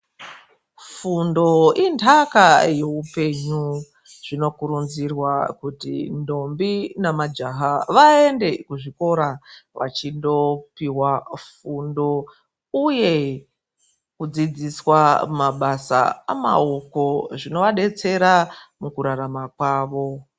Fundo inthaka yeupenyu. Zvinokurudzirwa kuti ndombi nemajaha vaende kuzvikora vachindopihwa fundo uye kudzidziswa mabasa emaoko zvinovadetsera mukurarama kwavo.